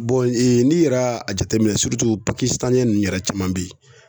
n'i yɛrɛ y'a jateminɛ ninnu yɛrɛ caman be yen